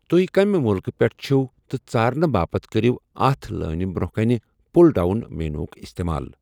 توہہِ كمہِ مٗلكہٕ پیٹھہٕ چھِو٘ تہِ ژارنہٕ باپت كریو اتھ لٲنہِ برونہہ كٕنہِ پٗل ڈاون مینوُ ہٗك استعمال ۔